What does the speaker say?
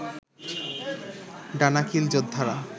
Danakil যোদ্ধারা